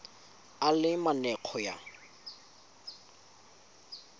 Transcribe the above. a le mane go ya